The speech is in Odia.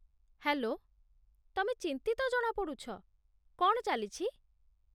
ହେଲୋ, ତମେ ଚିନ୍ତିତ ଜଣାପଡୁଛ, କ'ଣ ଚାଲିଛି?